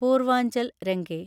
Purvanchal range